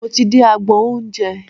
Mo ti dé agbọn oúnjẹ.